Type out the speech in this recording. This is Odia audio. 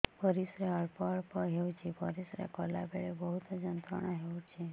ପରିଶ୍ରା ଅଳ୍ପ ଅଳ୍ପ ହେଉଛି ପରିଶ୍ରା କଲା ବେଳେ ବହୁତ ଯନ୍ତ୍ରଣା ହେଉଛି